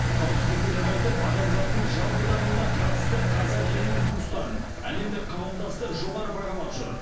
қауіпсіздікті нығайтып адамзаттың жалпы дамуына қатысты қазақ елінің ұсыныстарын әлемдік қауымдастық жоғары бағалап жүр